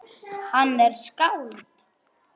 Hann er skáld.